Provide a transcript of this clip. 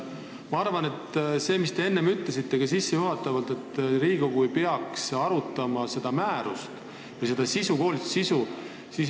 Te enne ütlesite sissejuhatavalt, et Riigikogu ei peaks arutama seda määrust või selle koolituse sisu.